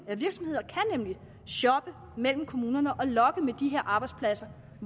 at virksomheder nemlig kan shoppe mellem kommunerne og lokke med de her arbejdspladser